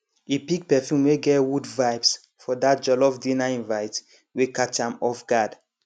e pick perfume wey get wood vibes for that jollof dinner invite wey catch am off guard